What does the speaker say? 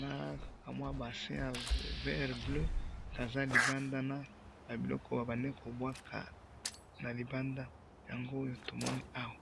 na kamwa bassin ya vert bleu baza na biloko bazali kobwaka na libanda yango tozali komona awa